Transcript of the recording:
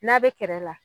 N'a bɛ kɛrɛ la